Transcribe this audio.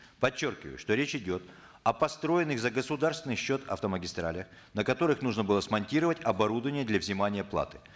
подчеркиваю что речь идет о построенных за государственный счет автомагистралях на котрых нужно было смонтировать оборудование для взимания платы